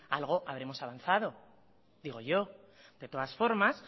algo habremos avanzado digo yo de todas formas